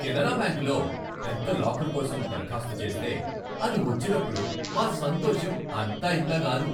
కెనరా బ్యాంకులో పెద్ద లాకర్ కోసం దరఖాస్తు చేస్తే అది వచ్చినప్పుడు మా సంతోషం అంతా ఇంతా కాదు.